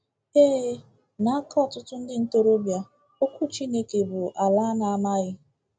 Ee, n’aka ọtụtụ ndị ntorobịa, Okwu Chineke bụ ala a na-amaghị.